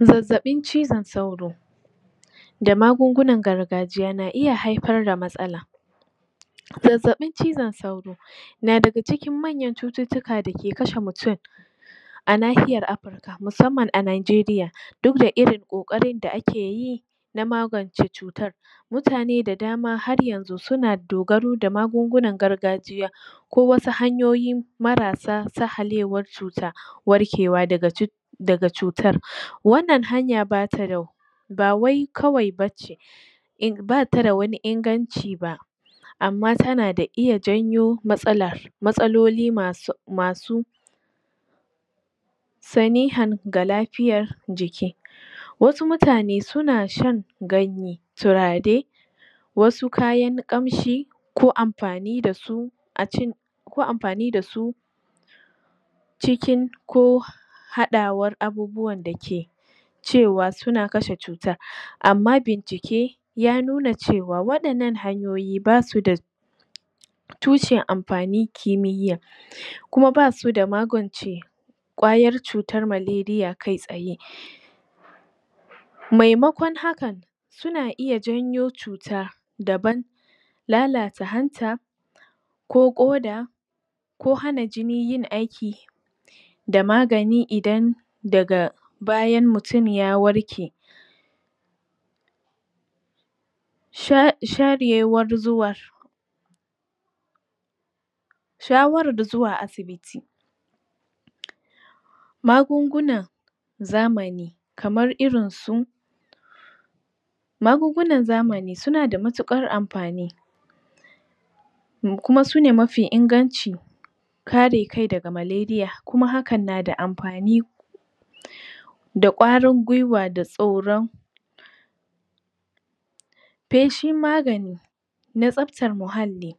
Zazzaɓin cizon sauro da magungunan gargajiya na iya haifar da matsala zazzaɓin cizon sauro na daga cikin manyan cututtuka da ke kashe mutun na nahiyar Afirka musamman a Nigeria duk da irin ƙoƙarin da ake yi na magance cutar mutane da dama har yanzu suna dogaro da magungunan gargajiya ko wasu hanyoyi marasa sahalewan cuta warkewa daga cutar wannan hanya bata da ba wai kawai ba ce in bata da wani inganci ba amma tana da iya janyo matsala, matsaloli masu masu sanihan ga lafiyan jiki wasu mutane suna shan ganye, turare wasu kayan ƙamshi ko amfani da su ko amfani da su cikin ko haɗawan abubuwan da ke cewa suna kashe cuta amma bincike ya nuna cewa waƴannan hanyoyi basu da tushen amfanin kimiyya kuma basu da magance ƙwayar cutar malaria kai tsaye maimakon hakan suna iya janyo cuta daban lalata hanta ko ƙoda ko hana jini yin aiki da magani idan daga bayan mutun ya warke sharewar zuwa shawarar zuwa asibiti magungunan zamani kamar irin su magungunan zamani suna da matuƙar amfani mu kuma sune mafi inganci kare kai daga malaria, kuma hakan na da amfani da ƙwarin gwuiwa da tsoron feshi magani na tsabtar muhalli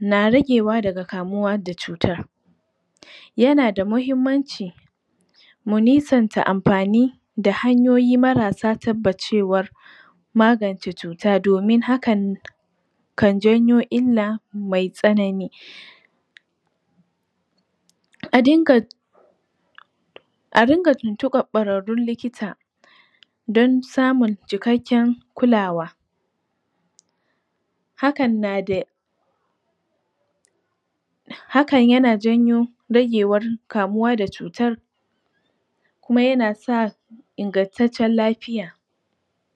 na ragewa daga kamuwa da cutar yana da mahimmanci mu nisanta amfani da hanyoyi marasa tabbacewa magance cuta domin hakan kan janyo illa mai tsanani a dinga a dinga tuntuɓar ƙwararrun likita dan samun cikakken kulawa hakan nada hakan yana janyo ragewar kamuwa da cutar kuma yana sa ingantacen lafiya.